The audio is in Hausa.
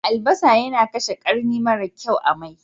Albasa yana kashe ƙarni mara kyau a mai.